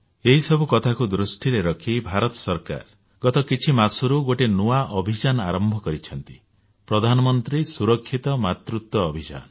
ଏହି ସବୁ କଥାକୁ ଦୃଷ୍ଟିରେ ରଖି ଭାରତ ସରକାର ଗତ କିଛି ମାସରୁ ଗୋଟିଏ ନୂଆ ଅଭିଯାନ ଆରମ୍ଭ କରିଛନ୍ତି ପ୍ରଧାନମନ୍ତ୍ରୀ ସୁରକ୍ଷିତ ମାତୃତ୍ୱ ଅଭିଯାନ